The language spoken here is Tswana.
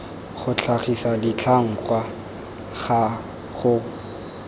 go tlhagisa ditlhangwa ka go